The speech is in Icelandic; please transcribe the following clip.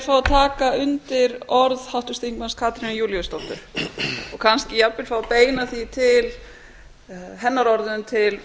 að taka undir orð háttvirts þingmanns katrínar júlíusdóttur og kannski jafnvel fá að beina hennar orðum til